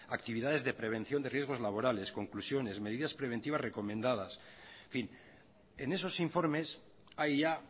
actividades de prevención de riesgos laborales conclusiones medidas preventivas recomendadas en fin en esos informes hay ya